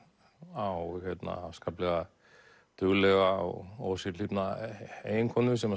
á afskaplega duglega og ósérhlífna eiginkonu sem